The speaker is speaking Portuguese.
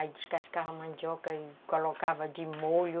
Aí descascava a mandioca e colocava de molho.